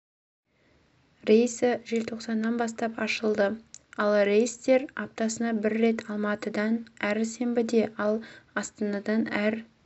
рейсі желтоқсаннан бастап ашылды ал рейстер аптасына бір рет алматыдан әр сенбіде ал астанадан әр